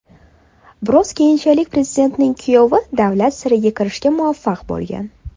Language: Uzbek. Biroq keyinchalik prezidentning kuyovi davlat siriga kirishga muvaffaq bo‘lgan.